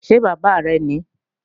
Ṣé bàbá rẹ̀ ní?